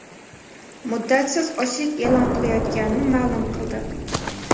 muddatsiz ochlik e’lon qilayotganini ma’lum qildi.